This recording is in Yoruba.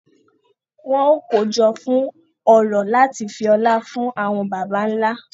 Wọn o kojọ fún orò láti fi ọlá fún àwọn bàbà nlá.